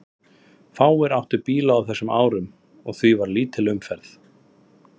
Fáir áttu bíla á þessum árum og því var lítil umferð.